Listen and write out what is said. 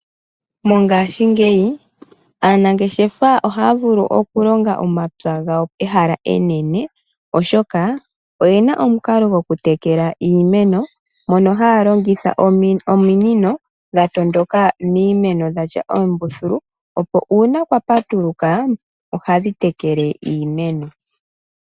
Mongashingeyi, aanangeshefa ohaya vulu oku longa omapya gawo pehala enene, oshoka oyena omukalo goku tekela iimeno, mono haya longitha ominino dha tondoka miimeno dha tya oombuthulu, opo una kwa patuluka ohadhi tekele iimeno.